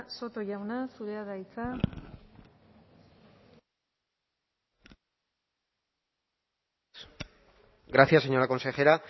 soto jauna zurea da hitza gracias señora consejera